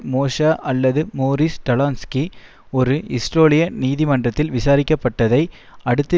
மோஷே அல்லது Morris Talansky ஒரு இஸ்ரேலிய நீதிமன்றத்தில் விசாரிக்கப்பட்டதை அடுத்து